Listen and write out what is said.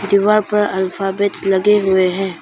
दीवार पर अल्फाबेट लगे हुए हैं।